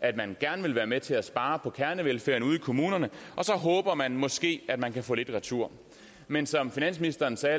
at man gerne vil være med til at spare på kernevelfærden ude i kommunerne og så håber man måske at man kan få lidt retur men som finansministeren sagde